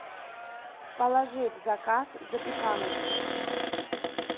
положи в заказ запеканочку